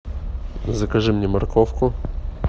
закажи мне морковку